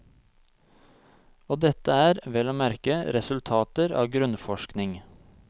Og dette er, vel å merke, resultater av grunnforskning.